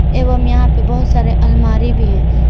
एवं ये पे बहुत सारे आलमारी भी हैं।